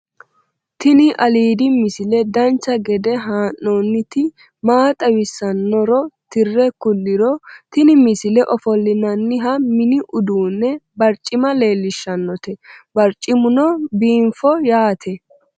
tini aliidi misile dacha gede haa'nooniti maa xawissannoro tire kulliro tini misile ofollinanniha mini uddunne barcima leellishannote barcimuno biinfo yaate